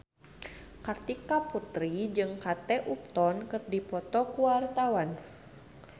Kartika Putri jeung Kate Upton keur dipoto ku wartawan